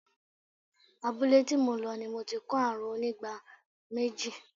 Abúlé tí mo lọ ni mo ti ko àrùn onígbá méjì.